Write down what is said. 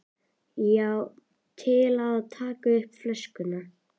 Já, til að taka upp flöskuna